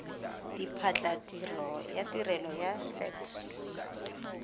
diphatlatiro ya tirelo ya set